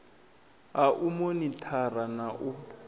ha u monithara na u